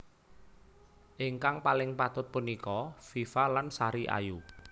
Ingkang paling patut punika Viva lan Sari Ayu